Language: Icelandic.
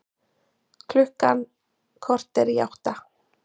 Klukkan korter í átta